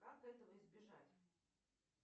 как этого избежать